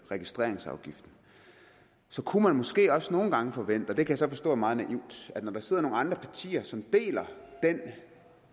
registreringsafgiften så kunne man måske også nogle gange forvente og det kan jeg så forstå er meget naivt at når der sidder nogle andre partier som deler den